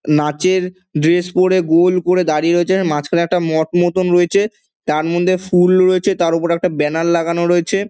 নাচে-র dress পরে গোল করে দাঁড়িয়ে রয়েছে | আর মাঝখানে একটা মঠ মতোন রয়েছে | তার মধ্যে ফুল রয়েছে তার ওপরে একটা ব্যানার লাগানো রয়েছে |